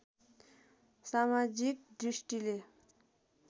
समाजिक दृष्टिले